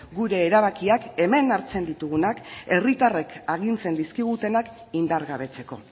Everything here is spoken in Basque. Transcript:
gure erabakiak hemen hartzen ditugunak herritarrek agintzen dizkigutenak indargabetzeko